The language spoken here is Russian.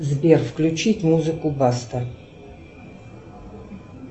сбер включить музыку баста